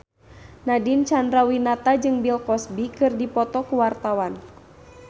Nadine Chandrawinata jeung Bill Cosby keur dipoto ku wartawan